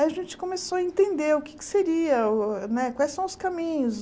Aí a gente começou a entender o que é que seria o né, quais são os caminhos.